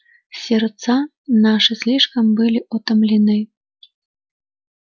сердца наши слишком были утомлены